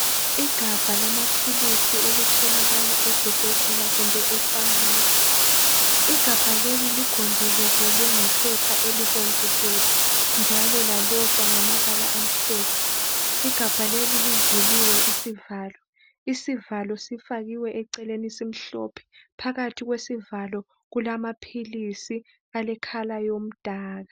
Igabha lamaphilisi elitholakala ezibhedlela kumbe efamasi. Igabha leli ligonjolozelwe ngephepha elibomvu gebhu njalo lalotshwa ngamabala amhlophe. Igabha leli livuliwe isivalo. Isivalo sifakiwe eceleni simhlophe, phakathi kwesivalo kulamaphilisi alekhala yomdaka.